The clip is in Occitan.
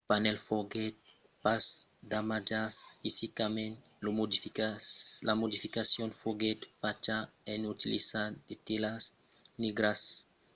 lo panèl foguèt pas damatjat fisicament; la modificacion foguèt facha en utilizant de telas negras ondradas de signes de patz e de còr a fin d'alterar la o per i legir una e minuscula